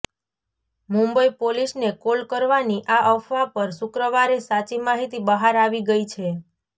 મુંબઈ પોલીસને કોલ કરવાની આ અફવા પર શુક્રવારે સાચી માહિતી બહાર આવી ગઈ છે